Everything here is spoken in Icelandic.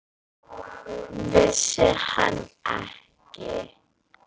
Vissi hann ekki?